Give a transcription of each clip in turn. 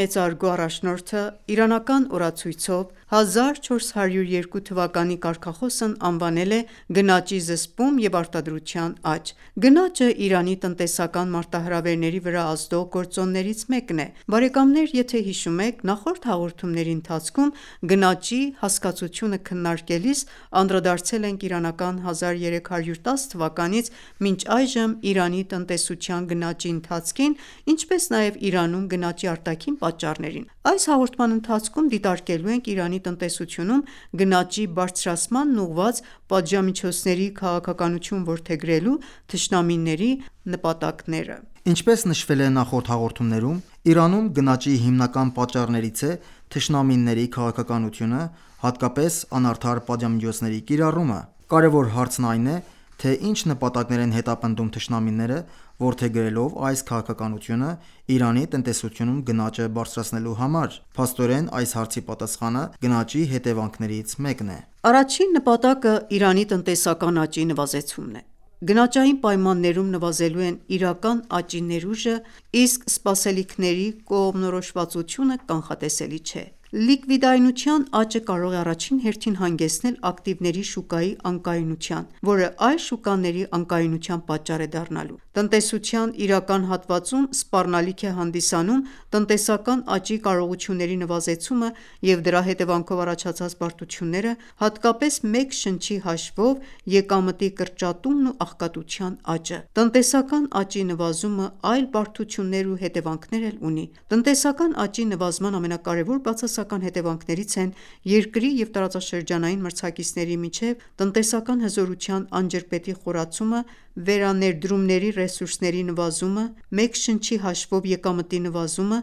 մեծարգո առաջնորդը իրանական օրացույցով 1402 թվականի կարգախոսն անվանել է «Գնաճի զսպում և արտադրության աճ»: Գնաճը Իրանի տնտեսական մարտահրավերների վրա ազդող գործոններից մեկն է։ Նախորդ հաղորդումների ընթացքում գնաճի հասկացությունը քննարկելիս անդրադարձել ենք իրանական 1310 թվականից մինչ այժմ Իրանի տնտեսության գնաճի ընթացքին, ինչպես նաև Իրանում գնաճի արտաքին պատճառներին։ Այս հաղորդման ընթացքում դիտարկելու ենք Իրանի տնտեսությունում գնաճի բարձրացմանն ուղղված պատժամիջոցների քաղաքականություն որդեգրելու թշնամիների նպատակները։ Ինչպես նշվել է նախորդ հաղորդումներում, Իրանում գնաճի հիմնական պատճառներից է թշնամիների քաղաքականությունը, հատկապես անարդար պատժամիջոցների կիրառումը։ Կարևոր հարցն այն է, թե ինչ նպատակներ են հետապնդում թշնամիները՝ որդեգրելով այս քաղաքականությունը Իրանի տնտեսությունում գնաճը բարձրացնելու համար։ Փաստորեն, այս հարցի պատասխանը գնաճի հետեւանքներից մեկն է։ Առաջին նպատակը Իրանի տնտեսական աճի նվազեցումն է։ Գնաճային պայմաններում նվազելու են իրական աճի ներուժը, իսկ սպասելիքների կողմնորոշվածությունը կանխատեսելի չէ։ Լիկվիդայնության աճը կարող է առաջին հերթին հանգեցնել ակտիվների շուկայի անկայունության, որը այլ շուկաների անկայունության պատճառ է դառնալու: Տնտեսության իրական հատվածում սպառնալիք է հանդիսանում տնտեսական աճի կարողությունների նվազեցումը և դրա հետևանքով առաջացած բարդությունները, հատկապես մեկ շնչի հաշվով եկամտի կրճատումն ու աղքատության աճը։ Տնտեսական աճի նվազումը այլ բարդություններ ու հետեւանքներ էլ ունի։ Տնտեսական աճի նվազման ամենակարևոր բացասական հետևանքներից են երկրի և տարածաշրջանային մրցակիցների միջև տնտեսական հզորության անջրպետի խորացումը, վերաներդրումների ռեսուրսների նվազումը, մեկ շնչի հաշվով եկամտի նվազումը,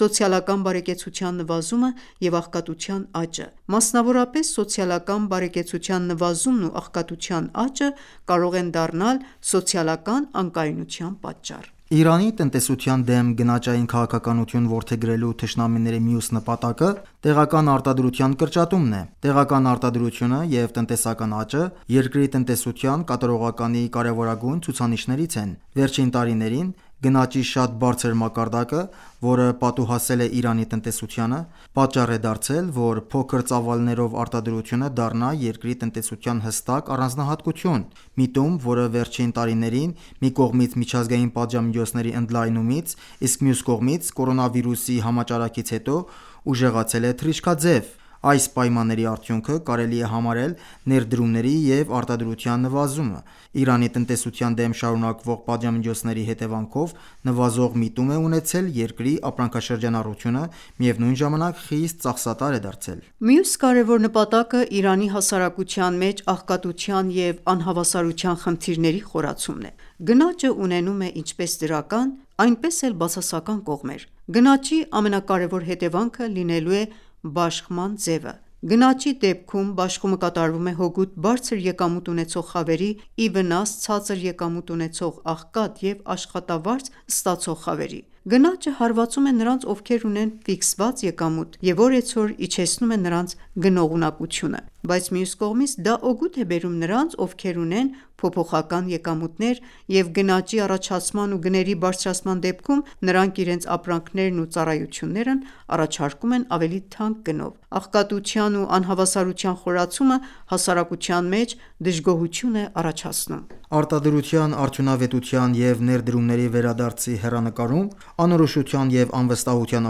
սոցիալական բարեկեցության նվազումը և աղքատության աճը։ Մասնավորապես, սոցիալական բարեկեցության նվազումն ու աղքատության աճը կարող են դառնալ սոցիալական անկայունության պատճառ։ Իրանի տնտեսության դեմ գնաճային քաղաքականություն որդեգրելու թշնամիների մյուս նպատակը տեղական արտադրության կրճատումն է։ Տեղական արտադրությունը և տնտեսական աճը երկրի տնտեսության կատարողականի կարևորագույն ցուցանիշներից են։ Վերջին տարիներին գնաճի շատ բարձր մակարդակը, որը պատուհասել է Իրանի տնտեսությանը, պատճառ է դարձել, որ «փոքր ծավալներով արտադրությունը» դառնա երկրի տնտեսության հստակ առանձնահատուկություն։ Միտում, որը վերջին տարիներին մի կողմից միջազգային պատժամիջոցների ընդլայնումից, իսկ մյուս կողմից՝ կորոնավիրուսի համաճարակից հետո ուժեղացել է թռիչքաձև։ Այս պայմանների արդյունքը կարելի է համարել ներդրումների և արտադրության նվազում։ Իրանի տնտեսության դեմ շարունակվող պատժամիջոցների հետևանքով նվազող միտում է ունեցել երկրի ապրանքաշրջանառությունը, միևնույն ժամանակ խիստ ծախսատար է դարձել։ Մյուս կարևոր նպատակը Իրանի հասարակության մեջ աղքատության և անհավասարության խնդիրների խորացումն է: Գնաճը ունենում է ինչպես դրական, այնպես էլ բացասական կողմեր։ Գնաճի ամենակարևոր հետևանքը լինելու է բաշխման ձևը։ Գնաճի դեպքում բաշխումը կատարվում է հօգուտ բարձր եկամուտ ունեցող խավերի՝ ի վնաս ցածր եկամուտ ունեցող, աղքատ և աշխատավարձ ստացող խավերի։ Գնաճը հարվածում է նրանց, ովքեր ունեն ֆիքսված եկամուտ և օրեցօր իջեցնում է նրանց գնողունակությունը։ Բայց, մյուս կողմից, դա օգուտ է բերում նրանց, ովքեր ունեն փոփոխական եկամուտներ, և գնաճի առաջացման ու գների բարձրացման դեպքում նրանք իրենց ապրանքներն ու ծառայություններն առաջարկում են ավելի թանկ գնով: Աղքատության ու անհավասարության խորացումը հասարակության մեջ դժգոհություն է առաջացնում։ Արտադրության արդյունավետության և ներդրումների վերադարձի հեռանկարում անորոշության և անվստահության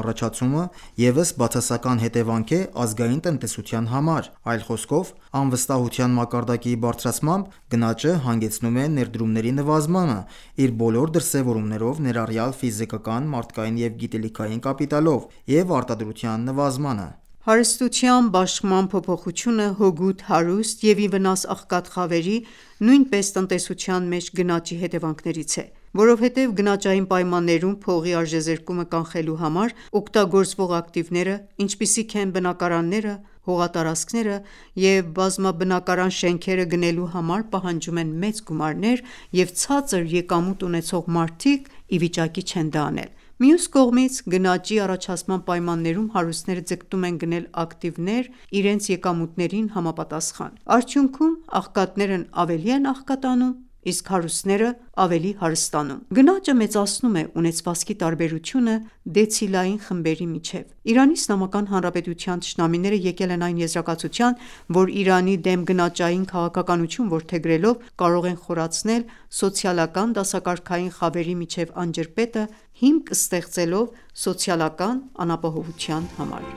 առաջացումը ևս բացասական հետևանք է ազգային տնտեսության համար, այլ խոսքով, անվստահության մակարդակի բարձրացմամբ գնաճը հանգեցնում է ներդրումների նվազմանը (իր բոլոր դրսևորումներով, ներառյալ ֆիզիկական, մարդկային և գիտելիքային կապիտալով)՝ և արտադրության նվազմանը։ Հարստության բաշխման փոփոխությունը հօգուտ հարուստ և ի վնաս աղքատ խավերի, նույնպես տնտեսության մեջ գնաճի հետևանքներից է, որովհետև գնաճային պայմաններում փողի արժեզրկումը կանխելու համար օգտագործվող ակտիվները, ինչպիսիք են բնակարանները, հողատարածքները և բազմաբնակարան շենքերը գնելու համար պահանջում են մեծ գումարներ, և ցածր եկամուտ ունեցող մարդիկ ի վիճակի չեն դա անել: Մյուս կողմից, գնաճի առաջացման պայմաններում հարուստները ձգտում են գնել ակտիվներ (գնաճի վահան)՝ իրենց եկամուտներին համապատասխան։ Արդյունքում՝ աղքատներն ավելի են աղքատանում, իսկ հարուստները՝ ավելի հարստանում։ Գնաճը մեծացնում է ունեցվածքի տարբերությունը դեցիլային խմբերի միջև։ Իրանի Իսլամական Հանրապետության թշնամիները եկել են այն եզրակացության, որ Իրանի դեմ գնաճային քաղաքականություն որդեգրելով՝ կարող են խորացնել սոցիալական դասակարգային խավերի միջև անջրպետը՝ հիմք ստեղծելով սոցիալական անապահովության համար։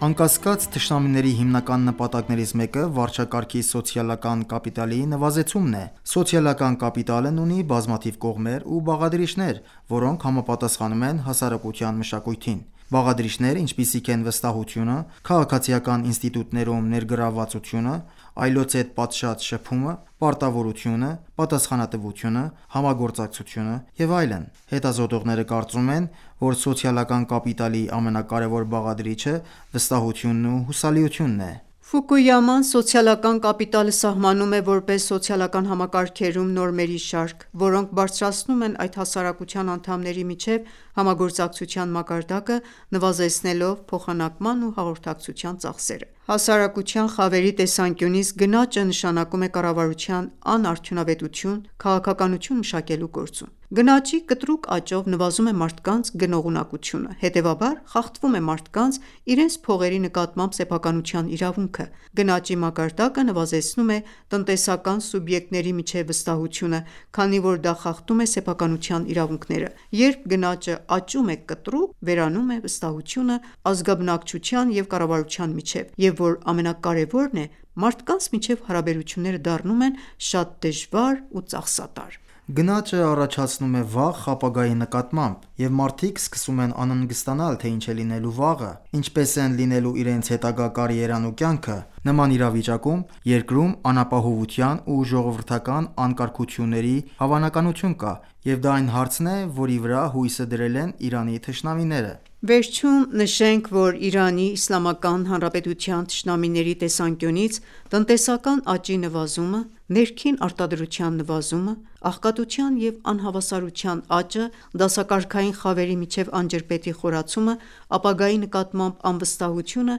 Անկասկած, թշնամիների հիմնական նպատակներից մեկը վարչակարգի սոցիալական կապիտալի նվազեցումն է։ Սոցիալական կապիտալն ունի բազմաթիվ կողմեր ու բաղադրիչներ, որոնք համապատասխանում են հասարակության մշակույթին. Բաղադրիչներ, ինչպիսիք են վստահությունը, քաղաքացիական ինստիտուտներում ներգրավվածությունը, այլոց հետ պատշաճ շփումը, պարտավորությունը, պատասխանատվությունը, համագործակցությունը և այլն: Հետազոտողները կարծում են, որ սոցիալական կապիտալի ամենակարևոր բաղադրիչը վստահությունն ու հուսալիությունն է: Ֆուկույաման սոցիալական կապիտալը սահմանում է որպես սոցիալական համակարգերում նորմերի շարք, որոնք բարձրացնում են այդ հասարակության անդամների միջև համագործակցության մակարդակը՝ նվազեցնելով փոխանակման ու հաղորդակցության ծախսերը: Հասարակության խավերի տեսանկյունից գնաճը նշանակում է կառավարության անարդյունավետություն՝ քաղաքականություն մշակելու գործում։ Գնաճի կտրուկ աճով նվազում է մարդկանց գնողունակությունը, հետևաբար՝ խախտվում է մարդկանց՝ իրենց փողերի նկատմամբ սեփականության իրավունքը։ Գնաճի մակարդակը նվազեցնում է տնտեսական սուբյեկտների միջև վստահությունը, քանի որ դա խախտում է սեփականության իրավունքները։ Երբ գնաճը աճում է կտրուկ, վերանում է վստահությունը ազգաբնկչության և կառավարության միջև, և որ ամենակարևորն է, մարդկանց միջև հարաբերությունները դառնում են շատ դժվար ու ծախսատար: Գնաճը առաջացնում է վախ ապագայի նկատմամբ, և մարդիկ սկսում են անհանգստանալ, թե ինչ է լինելու վաղը, ինչպես են լինելու իրենց հետագա կարիերան ու կյանքը։ Նման իրավիճակում երկրում անապահովության ու ժողովրդական անկարգությունների հավանականություն կա, և դա այն հարցն է, որի վրա հույսը դրել են Իրանի թշնամիները։ Վերջում նշենք, որ Իրանի Իսլամական Հանրապետության թշնամիների տեսանկյունից, տնտեսական աճի նվազումը, ներքին արտադրության նվազումը, աղքատության և անհավասարության աճը, դասակարգային խավերի միջև անջրպետի խորացումը, ապագայի նկատմամբ անվստահությունը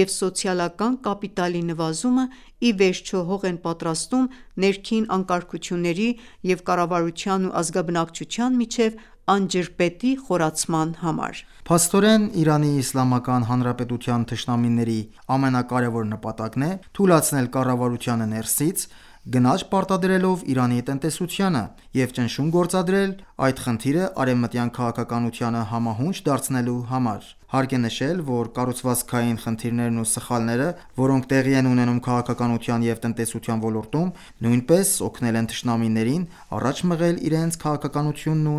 և սոցիալական կապիտալի նվազումը ի վերջո հող են պատրաստում ներքին անկարգությունների և կառավարության ու ազգաբնակչության միջև անջրպետի խորացման համար։ Փաստորեն, Իրանի Իսլամական Հանրապետության թշնամիների ամենակարեւոր նպատակն է թուլացնել կառավարությանը ներսից՝ գնաճ պարտադրելով Իրանի տնտեսությանը, եւ ճնշում գործադրել՝ այդ խնդիրը արեւմտյան քաղաքականությանը համահունչ դարձնելու համար: Հարկ է նշել, որ կառուցվածքային խնդիրներն ու սխալները, որոնք տեղի են ունենում քաղաքականության և տնտեսության ոլորտում, նույնպես օգնել են թշնամիներին առաջ մղել իրենց քաղաքականությունն ու